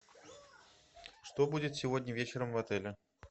что будет сегодня вечером в отеле